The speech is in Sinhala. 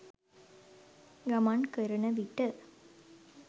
ගමන් කරන විට